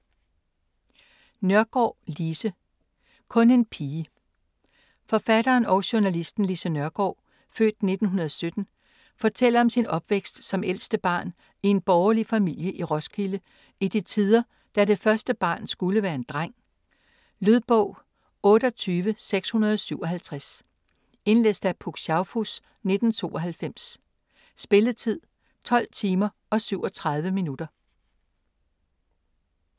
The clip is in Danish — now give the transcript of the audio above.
Nørgaard, Lise: Kun en pige Forfatteren og journalisten Lise Nørgaard (f. 1917) fortæller om sin opvækst som ældste barn i en borgerlig familie i Roskilde i de tider, da det første barn skulle være en dreng. Lydbog 28657 Indlæst af Puk Schaufuss, 1992. Spilletid: 12 timer, 37 minutter.